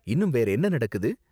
இன்னும் வேற என்ன நடக்குது?